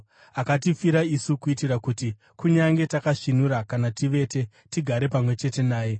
Akatifira isu kuitira kuti, kunyange takasvinura kana tivete, tigare pamwe chete naye.